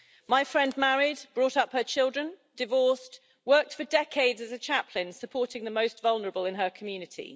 My friend married, brought up her children, divorced, worked for decades as a chaplain supporting the most vulnerable in her community.